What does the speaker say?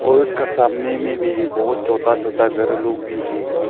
और उसका सामने में भी बहुत छोता छोता घर लोग भी है।